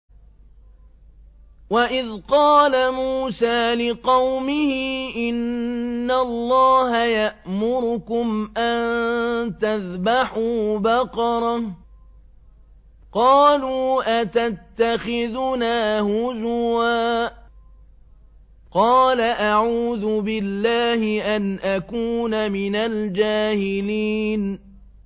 وَإِذْ قَالَ مُوسَىٰ لِقَوْمِهِ إِنَّ اللَّهَ يَأْمُرُكُمْ أَن تَذْبَحُوا بَقَرَةً ۖ قَالُوا أَتَتَّخِذُنَا هُزُوًا ۖ قَالَ أَعُوذُ بِاللَّهِ أَنْ أَكُونَ مِنَ الْجَاهِلِينَ